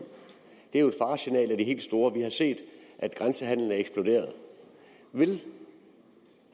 det er jo et faresignal af de helt store vi har set at grænsehandelen er eksploderet vil